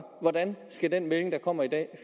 hvordan skal den melding der kommer i dag